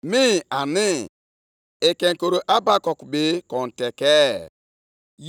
Nke a bụ ekpere Habakuk onye amụma kpere. Ọ dị nʼusoro Shiginot. Nke a bụ ihe o kwuru.